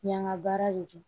N y'an ka baara de don